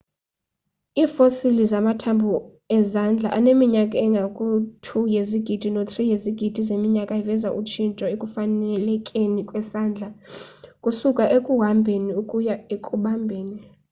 iifosili zamathambho ezandla aneminyaka engaku-2 yezigidi no-3 yezigidi zeminyaka iveza utshintsho ekufanelekeni kwesandla ukusuka ekuhambheni ukuya ekubambheni